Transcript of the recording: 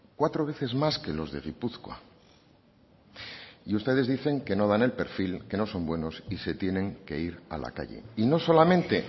cuatro veces más que los de gipuzkoa y ustedes dicen que no dan el perfil que no son buenos y se tienen que ir a la calle y no solamente